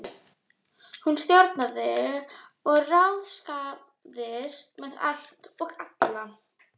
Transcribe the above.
Hún stjórnaði og ráðskaðist með allt og alla.